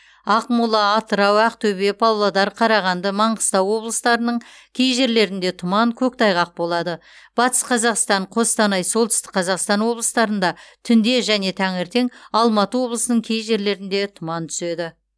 ақмола атырау ақтөбе павлодар қарағанды маңғыстау облыстарының кей жерлерінде тұман көктайғақ болады батыс қазақстан қостанай солтүстік қазақстан облыстарында түнде және таңертең алматы облысының кей жерлерінде тұман түседі